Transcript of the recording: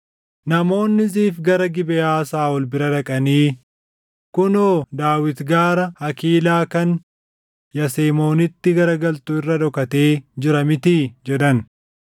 Namoonni Ziif gara Gibeʼaa Saaʼol bira dhaqanii, “Kunoo Daawit gaara Hakiilaa kan Yasemoonitti garagaltu irra dhokatee jira mitii?” jedhan.